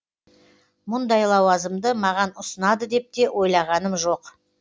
мұндай лауазымды маған ұсынады деп те ойлағаным жоқ